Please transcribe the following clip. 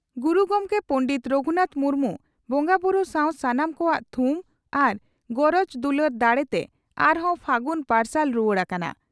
ᱜᱩᱨᱩ ᱜᱚᱢᱠᱮ ᱯᱚᱸᱱᱰᱮᱛ ᱨᱟᱹᱜᱷᱩᱱᱟᱛᱷ ᱢᱩᱨᱢᱩ ᱵᱚᱸᱜᱟᱵᱩᱨᱩ ᱥᱟᱣ ᱥᱟᱱᱟᱢ ᱠᱚᱣᱟᱜ ᱛᱷᱩᱢ ᱟᱨ ᱜᱚᱨᱚᱡᱽ ᱫᱩᱞᱟᱹᱲ ᱫᱟᱲᱮᱛᱮ ᱟᱨᱦᱚᱸ ᱯᱷᱟᱹᱜᱩᱱ ᱯᱟᱨᱥᱟᱞ ᱨᱩᱣᱟᱹᱲ ᱟᱠᱟᱱᱟ ᱾